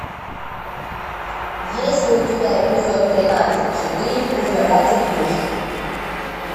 есть ли у тебя эпизод тринадцать четыре пожиратель душ